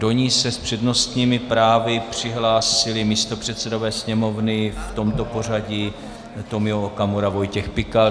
Do ní se s přednostními právy přihlásili místopředsedové Sněmovny v tomto pořadí: Tomio Okamura, Vojtěch Pikal.